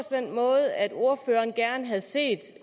den måde at ordføreren gerne havde set